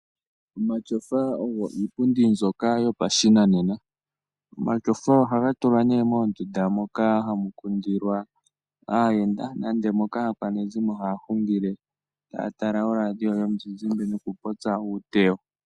Omatyofa ogo iipundi mbyoka yo pashinanena. Omatyofa ohaga tulwa nee moondunda moka hamu kundilwa aayenda, nenge aakwanezimo haya hungile taya tala oraadio yomuzizimba noku popya uutewo.